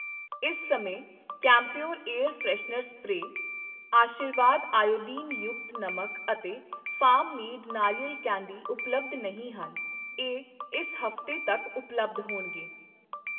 ਇਸ ਸਮੇਂ camphor air freshener spray, Aashirvaad iodine ਯੁਕਤ ਨਮਕ ਅਤੇ ਫਾਰਮ ਮੈਡ ਨਾਰੀਅਲ ਕੈਂਡੀ ਉਪਲੱਬਧ ਨਹੀਂ ਹਨ, ਇਹ ਇਸ ਹਫ਼ਤੇ ਤੱਕ ਉਪਲੱਬਧ ਹੋਣਗੇ